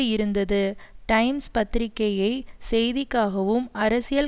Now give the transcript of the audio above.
இருந்தது டைம்ஸ் பத்திரிக்கையை செய்திக்காவும் அரசியல்